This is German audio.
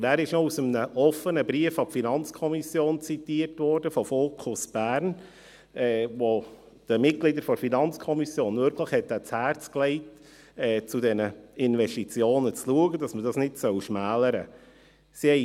Es wurde dann auch aus einem offenen Brief von Fokus Bern an die FiKo zitiert, welche den Mitgliedern der FiKo wirklich ans Herz legte, zu diesen Investitionen zu schauen, dass man diese nicht schmälern soll.